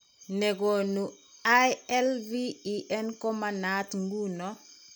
Ne konu ILVEN ko manaat ng'uno.